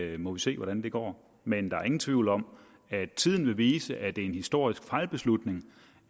vi må se hvordan det går men der er ingen tvivl om at tiden vil vise at det er en historisk fejlbeslutning